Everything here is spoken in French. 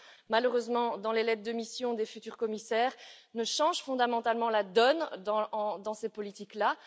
Malheureusement, rien dans les lettres de mission des futurs commissaires ne change fondamentalement la donne de ces politiques là.